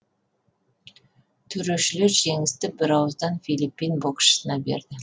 төрешілер жеңісті бір ауыздан филиппин боксшысына берді